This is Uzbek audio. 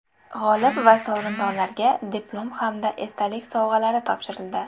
G‘olib va sovrindorlarga diplom hamda esdalik sovg‘alari topshirildi.